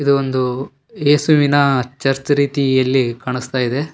ಇದೊಂದು ಯೇಸುವಿನ ಚರ್ಚ್ ರೀತಿಯಲ್ಲಿ ಕಾಣಿಸ್ತಾ ಇದೆ.